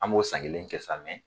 An b'o san kelen kɛ sa